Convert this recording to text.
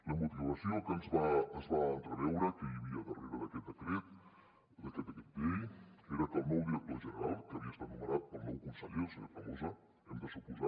la motivació que es va entreveure que hi havia darrere d’aquest decret llei era que el nou director general que havia estat nomenat pel nou conseller el senyor tremosa hem de suposar